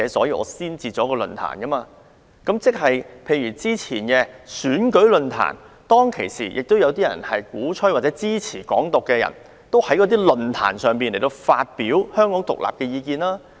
以早前舉行的選舉論壇為例。鼓吹或支持"港獨"的人，亦有在論壇上發表意見。